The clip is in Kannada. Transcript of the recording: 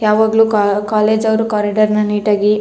ಯಾವಾಗ್ಲು ಕಾ ಕಾಲೇಜ್ ಅವ್ರು ಕಾರಿಡೋರ್ ನೀಟ್ ಆಗಿ --